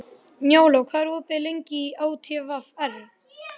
Njála, hvað er opið lengi í ÁTVR?